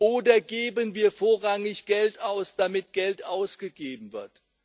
Oder geben wir vorrangig Geld aus, damit Geld ausgegeben wird?